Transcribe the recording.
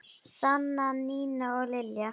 Sanna, Nína og Lilja.